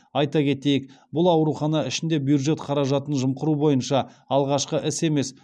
айта кетейік бұл аурухана ішінде бюджет қаражатын жымқыру бойынша алғашқы іс емес